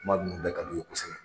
Kuma nunnu bɛɛ ka d'u ye kosɛbɛ